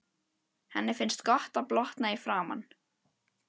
Henni finnst gott að blotna í framan.